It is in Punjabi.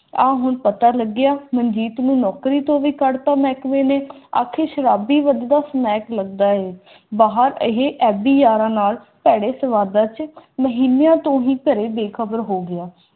ਆ ਹੁਣ ਪਤਾ ਲੱਗਿਆ ਮਨਜੀਤ ਨੂੰ ਨੌਕਰੀ ਤੋਂ ਵੀ ਘੱਟ ਹੈ ਮਹਿਕਮੇ ਨੇ ਆਖਿਰ ਸ਼ਰਾਬ ਦੀ ਵਧ ਰਹੀ ਹੈ ਬਾਹਰ ਉਹਦੀ ਯਾਰਾਂ ਨਾਲ ਭੈੜੇ ਸੰਵਾਦਦਾਤਾ ਮਹੀਨਿਆਂ ਤੋਂ ਹੀ ਘਰੇ ਬੇਖ਼ਬਰ ਹੋ ਗਿਆ